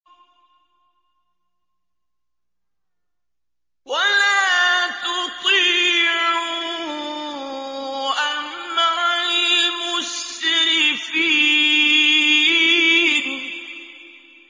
وَلَا تُطِيعُوا أَمْرَ الْمُسْرِفِينَ